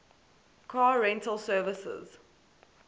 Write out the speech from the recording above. car rental services